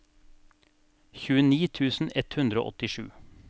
tjueni tusen ett hundre og åttisju